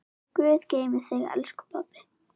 Guð geymi þig, elsku pabbi.